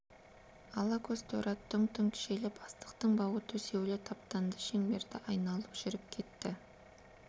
ала көз торы ат дүңк-дүңк желіп астықтың бауы төсеулі таптанды шеңберді айналып жүріп кетті